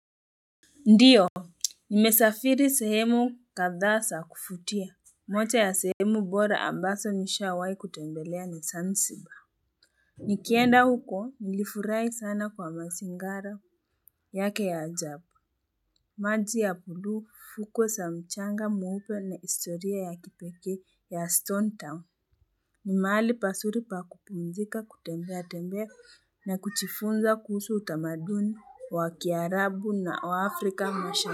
Ndiyo, nimesafiri sehemu kadha za kuvutia. Moja ya sehemu bora ambazo nishawahi kutembelea ni Zanzibar. Nikienda huko nilifurahi sana kwa mazingara yake ya ajabu. Maji ya buluu fuko za mchanga mweupe ni historia ya kipekee ya Stone Town. Ni mahali pazuri pa kupumzika, kutembeatembea na kujifunza kuhusu utamaduni wa Kiarabu na wa Afrika mashariki.